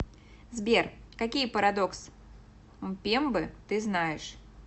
сбер какие парадокс мпембы ты знаешь